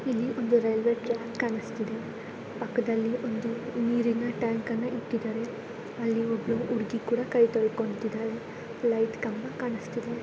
ಇಲ್ಲಿ ಒಂದು railway track ಕಾಣಿಸ್ತಿದೆ ಪಕ್ಕದಲ್ಲಿ ಒಂದು ನೀರಿನ ಟ್ಯಾಂಕ ಅನ್ನ ಇಟ್ಟಿದ್ದಾರೆ ಅಲ್ಲಿ ಒಬ್ಬ ಹುಡುಗಿ ಕೂಡ ಕೈ ತೊಳಕೊಂತ್ತಿದ್ದಾಳೆ ಲೈಟ ಕಂಬ ಕಾಣಸ್ತಾ ಇದೆ.